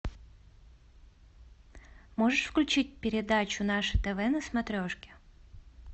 можешь включить передачу наше тв на смотрешке